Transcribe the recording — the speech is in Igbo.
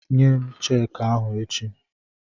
Nyem cheeki ahụ echi!